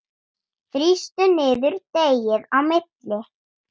Þrýstu niður deigið á milli.